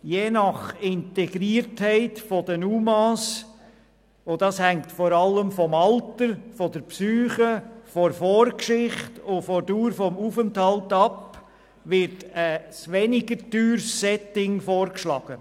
Je nach Grad der Integration der UMA – dieser hängt vor allem vom Alter, der Psyche, der Vorgeschichte und der Dauer des Aufenthalts ab – wird ein weniger teures Setting vorgeschlagen.